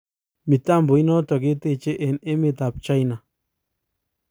Mtambo inotok keteche eng emet ap china